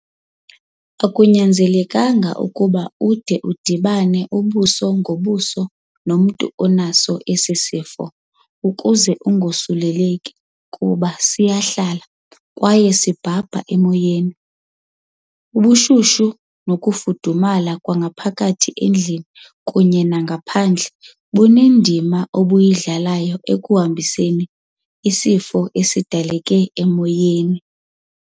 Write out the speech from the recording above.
Akunyanzelekanga ukuba ude udibane buso ngobuso nomntu onaso esi sifo ukuze wosuleleke kuba sihlala kwaye sibhabha emoyeni. Ubushushu nokufudumala kwangaphakathi endlini kunye nangaphandle bunendima obuyidlalayo ekuhambiseni izifo ezidaleka emoyeni.